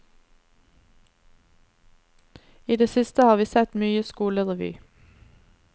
I det siste har vi sett mye skolerevy.